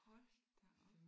Hold da op